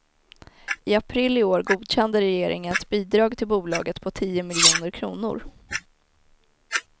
I april i år godkände regeringen ett bidrag till bolaget på tio miljoner kronor.